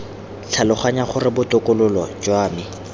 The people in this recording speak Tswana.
tlhaloganya gore botokololo jwa me